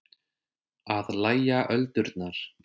Að lægja öldurnar